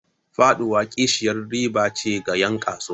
Faɗuwa kishiyar riba ce ga 'yan kasuwa.